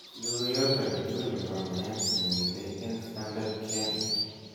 logoyot agetugul nebo meet nemiten eng stardard kenya